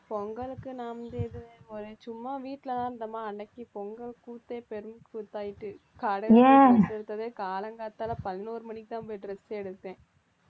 பொங்கலுக்கு நான் வந்து இது சும்மா வீட்டிலதான் இருந்தோமா அன்னைக்கு பொங்கல் கூத்தே பெரும் கூத்தாடியிட்டு, காலையில காலங்காத்தால பதினோரு மணிக்குதான் போய் dress ஏ எடுத்தேன்